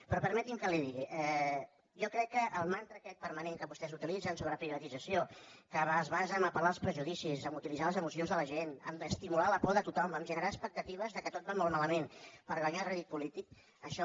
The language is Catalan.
però permeti’m que li ho digui jo crec que el mantra aquest permanent que vostès utilitzen sobre privatització que es basa en el fet d’apel·lar als prejudicis d’utilitzar les emocions de la gent d’estimular la por de tothom de generar expectatives que tot va molt malament per guanyar rèdit polític això